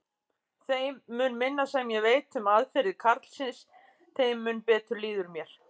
Þeim mun minna sem ég veit um aðferðir karlsins, þeim mun betur líður mér.